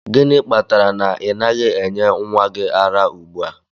Gịnị kpatara na ị naghị enye nwa gị ara ugbu a?